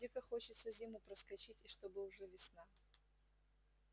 дико хочется зиму проскочить и чтобы уже весна